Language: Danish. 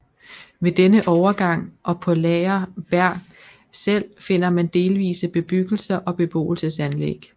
Ved denne overgang og på Laaer Berg selv finder man delvise bebyggelser og beboelsesanlæg